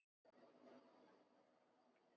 En það sést alveg.